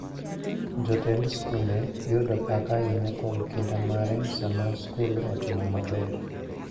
Jotend skunde yudo pak ahinya kuom kinda mare sama skul otimo maber.